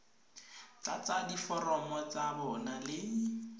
tlatsa diforomo tsa bona le